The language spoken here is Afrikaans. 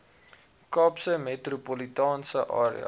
kaapse metropolitaanse area